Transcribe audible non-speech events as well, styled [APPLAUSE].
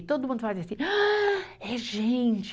E todo mundo fazia assim, [SIGHS] é gente!